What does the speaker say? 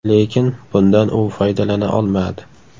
Lekin bundan u foydalana olmadi.